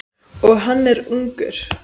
Og hann er ungur.